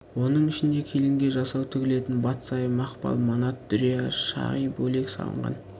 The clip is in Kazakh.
оның ішінде келінге жасау тігілетін батсайы мақпал манат дүрия шағи бөлек салынған